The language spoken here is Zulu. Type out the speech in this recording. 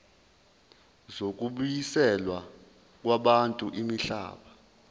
zokubuyiselwa kwabantu imihlaba